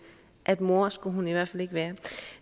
at mor skulle hun i hvert fald ikke være